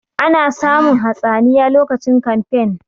Ana samun hatsaniya lokacin kamfen